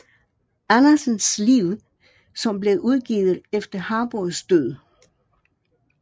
Andersens liv som blev udgivet efter Harboes død